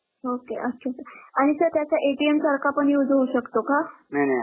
Okay अच्छा sir आणि sir त्याचा सारखा पण use होऊ शकतो का? नाही नाही